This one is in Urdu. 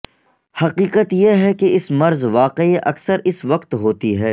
حقیقت یہ ہے کہ اس مرض واقعی اکثر اس وقت ہوتی ہے